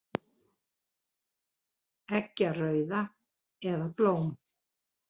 Eggjarauða, eða blóm.